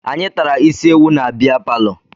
Anyị tara isi ewu na bea palọ